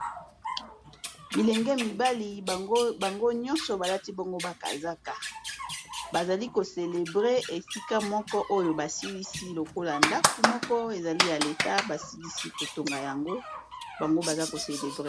Bilenge mibali bango nyonso balati bango bakazaka bazali kocelebre esika moko oyo basilisi lokola ndaku moko ezali yaleta basilisi kotonga yango bango baza kosepela.